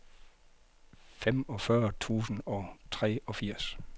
femogfyrre tusind og treogfirs